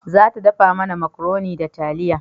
Za ta dafa mana makaroni da taliya